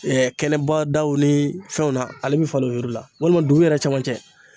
kɛnɛba daw ni fɛnw na ale bi falen o yɔrɔ la walima dugu yɛrɛ cɛmancɛ